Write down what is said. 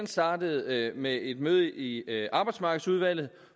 startede med et møde i arbejdsmarkedsudvalget